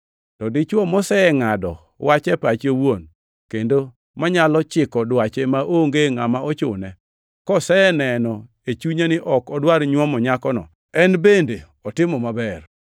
To dichwo mosengʼado wach e pache owuon, kendo manyalo chiko dwache maonge ngʼama ochune, koseneno e chunye ni ok odwar nyuomo nyakono, en bende otimo maber.